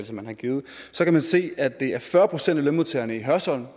som man har givet kan man se at det er fyrre procent af lønmodtagerne i hørsholm